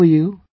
How are you